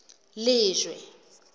lejwe